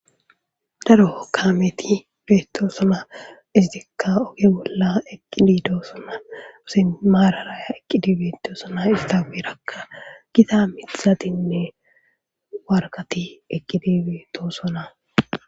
Daro kaameti beettosona. Etikka oge bolla eqqidi doosona. Simmi maarara eqqidi beettosona. Ista guyerakka gita miththatinne warkkati eqqidi beettosona.